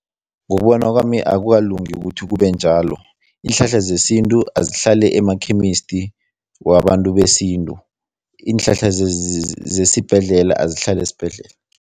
Ngokubona kwami, akukalungi ukuthi kube njalo. Iinhlahla zesintu azihlale ema-chemist wabantu besintu, iinhlahla zesibhedlela azihlale esibhedlela.